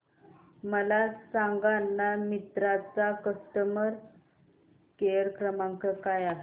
मला सांगाना मिंत्रा चा कस्टमर केअर क्रमांक काय आहे